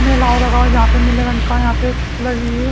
मेला और लगा हुआ है जहां पे नीले रंग का यहां पे छिप्प लगी हे--